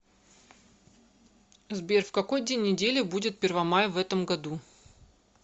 сбер в какой день недели будет первомай в этом году